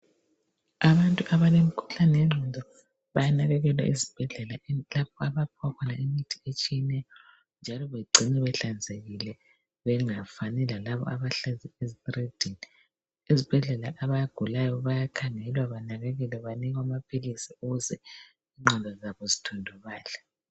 abantu abalemkhuhlane yenqondo bayanakekelwa esibhedlela imithi etshiyeneyo njalo begcinwe behlanzekile bengafani lalabo abahlala ezitiridini ezibhedlela abagulayo bayakhangelwa banakekelwe banikwe amaphilisi ukuze inqondo zabo zithundubale